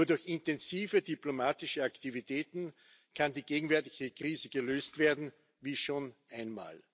Nur durch intensive diplomatische Aktivitäten kann die gegenwärtige Krise gelöst werden, wie schon einmal.